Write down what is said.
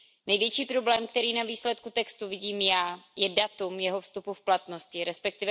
Největší problém, který na výsledku textu vidím já, je datum jeho vstupu v platnost, resp.